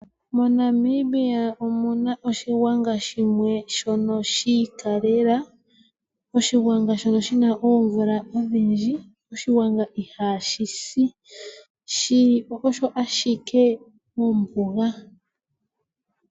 MoNamibia omuna oshigwanga shimwe shono shi ikalela. Oshigwanga shono shina omvula odhindji. Oshigwanga ihaashi si, shili osho ashike mombuga.